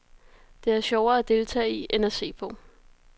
Det er sjovere at deltage i end at se på.